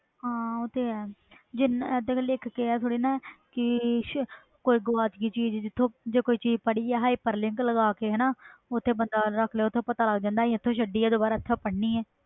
ਹਾਂ ਉਹ ਤੇ ਹੈ ਇਹ ਥੋੜੀ ਲਿਖ ਕੇ ਚੀਜ਼ ਗੁਵਾਚ ਗਈ ਚੀਜ਼ ਤੇ ਲਗਾ ਕੇ ਓਥੇ ਬੰਦਾ hyperlink ਰਖ ਲੈ ਓਥੋਂ ਪਤਾ ਲੱਗ ਜਾਂਦਾ ਹੱਥੋਂ ਛੱਡੀ ਆ